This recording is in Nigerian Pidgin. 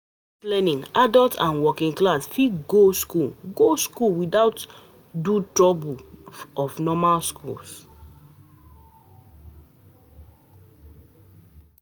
With distance learning, adults and working class fit go school go school without do troubles of normal schools